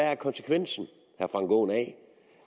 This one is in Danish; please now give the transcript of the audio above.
er konsekvensen af